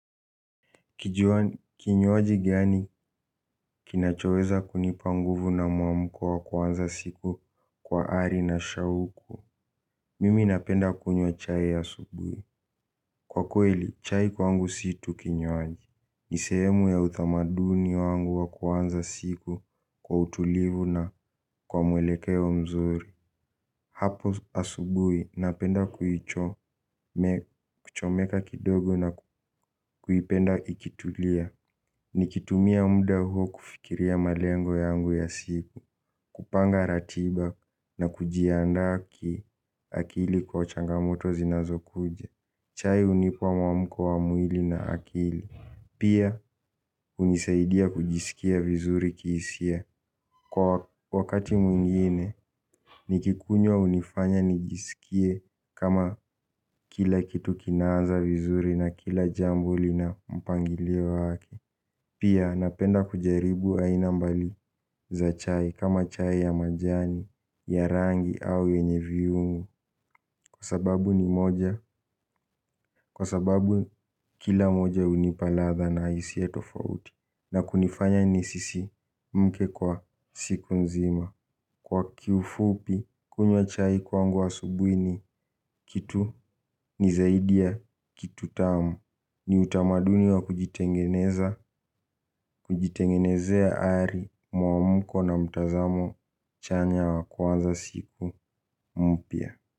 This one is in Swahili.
Kinywaji gani kinachoweza kunipa nguvu na mwamko wa kuanza siku kwa ari na shauku. Mimi napenda kunywa chai ya asubuhi, kwakweli. Chai kwangu si tu kinywaji, ni sehemu ya utamaduni wangu wa kuanza siku kwa utulivu na kwa mwelekeo mzuri. Hapo asubuhi napenda kuchomeka kidogo na kuipenda ikitulia. Nikitumia mda huo kufikiria malengo yangu ya siku, kupanga ratiba na kujiandaa ki akili kwa changamoto zinazokuja. Chai hunipa muamko wa mwili na akili. Pia hunisaidia kujisikia vizuri kihisia. Kwa wakati mwingine, nikikunywa hunifanya nijisikie kama kila kitu kinaanza vizuri na kila jambo lina mpangilio wake. Pia napenda kujaribu aina mbalimbali za chai kama chai ya majani, ya rangi au yenye viungo. Kwa sababu ni moja, kwa sababu kila moja hunipa ladha na hisia tofauti. Na kunifanya nisisimke kwa siku nzima. Kwa kifupi, kunywa chai kwangu asubuhi ni kitu ni zaidi ya kitu tamu. Ni utamaduni wa kujitengeneza, kujitengenezea ari, muamuko na mtazamo chanya wa kuanza siku mpya.